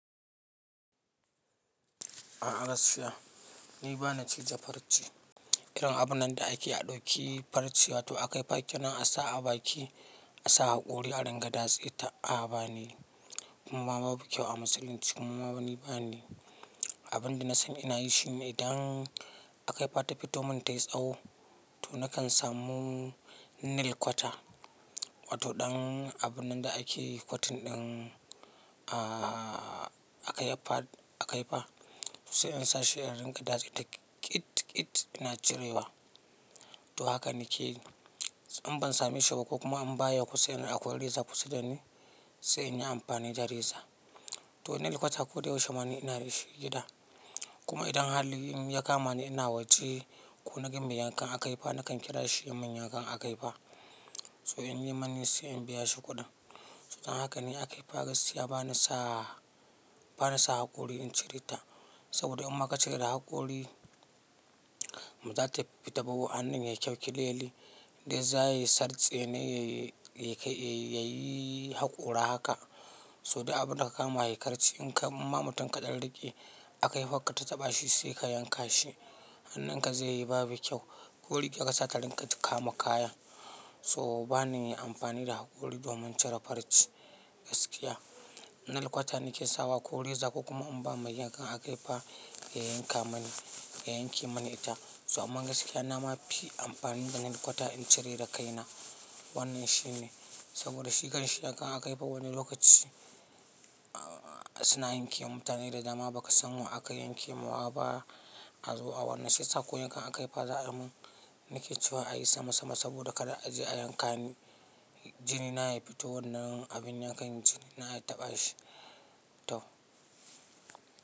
A gaskiya ni bana cije farci. Irin abun nan da ake aɗau ki farci wato aka yi bakinan a sa a baki, a sa hakori a dinga datse ta a banayi kuma babu kyau a musulunci kuma bana ni bani. Abin da nasani ina yi shi ne dan aka yi fatafito mun ta yi tsaho, to nakan samu nail kwata. Wato ɗan abun nan da ake kwatin ɗin aka yi aka yi fa sai in sa shi in ringa datse ta ƙit ƙit ina cirewa. To haka nake yi. In ban sami shi ba ko kuma in baya kusa nadi akwai reza kusa da ni sai in yi amfani da reza. To nail kwata ko da yaushe ma ni ina da shi gida. Kuma idan halilin ya kama ni ina waje ko na ga mayankan aka yi fa nakan kira shi ya mun yankan aka yi fa so in ya mani sai in biya shi kuɗin. To don haka ne aka yi fa gaskiya bana sa, bana sa hakori in cire ta. Saboda imma ka cire da hakori, bazata fita ba wa hannun ya clearly dai za yi sartse ne ya yi haƙora haka. So duk abun da ka kama yakarce in ka, imma mutum kaɗan ri ƙe aka yi fa ka tataɓa shi sai ka yanka shi. Hannun ka zai yi babu kyau. Koriga kasa ta rinƙa ta kama kayan. So bana yin amfani da hakori domin cire farci gaskiya. Nail kwata nake sawa ko reza ko kuma in ba meyankan aka yi fa ya yanka mani, ya yanke mani ita. So aman gaskiya na ma fi amfani da nail kwata in cire da kaina wannan shine. Saboda shi kanshi yankan aka yi fa wani lokaci suna yanke mutane da dama ba ka san wa aka yanke ma wa ba. A zo a wannan shiyasa ko yan kan aka yi fa za'ayi mun nake cewa a yi sama sama saboda kada aje ayanka ni jini na ya fito wannan abin yankan jini na ya taɓa shi. To.